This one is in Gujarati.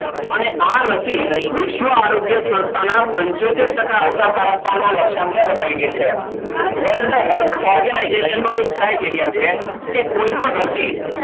અને આ રસી વિશ્વ આરોગ્ય સંસ્થાના પંચોતેર ટકા અસરકારકતાના લક્ષ્યાંક ને વટાવી ગઈ છે. વર્લ્ડ હેલ્થ ઓર્ગેનાઇઝેશન નું એક ક્રાઈટેરિયા છે કે કોઈપણ રસી,